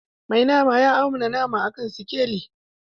Mai nama ya auna nama a kan sikeli.